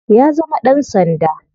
Ya zama dan sanda.